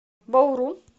бауру